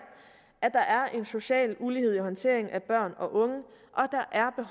at der er en social ulighed i håndteringen af børn og unge